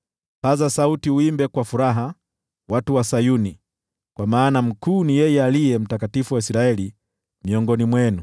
Pazeni sauti mwimbe kwa furaha, watu wa Sayuni, kwa maana mkuu ni yeye Aliye Mtakatifu wa Israeli miongoni mwenu.”